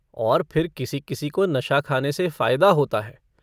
और फिर किसी-किसी को नशा खाने से फ़ायदा होता है।